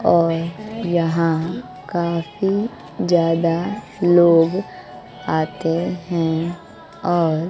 और यहां काफी जादा लोग आते हैं और --